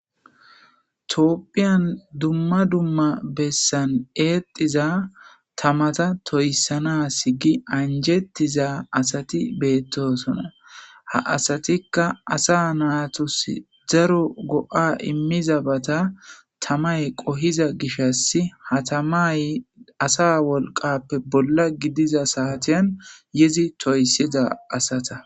toopphiyan dumma dumma bessan eetiza tamata toyssanas gi anjettiza asati beettosona ha asatikka asa naatus zaro go7a immiza bata tamay qohiza gishas hatamay asa wolqappe bolla gidiza saatiyan yezi toyssiza asata